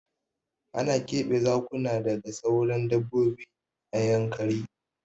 Ana keɓe Zakuna daga sauran dabbobi a Yankari.